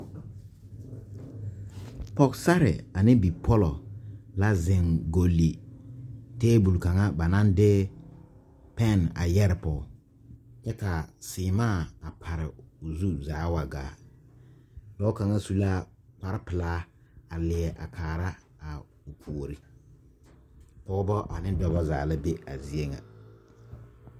Pɔgesarre ane bipɔlɔ la zeŋ goli tabol kaŋa ba naŋ de pɛnne a yɛre pɔge kyɛ ka seemaa a pare o zu zaa a wa gaa dɔɔ kaŋa su la kparre pelaa a leɛ a kaara a puori pɔgebɔ ne dɔbɔ zaa la be a zie ŋa.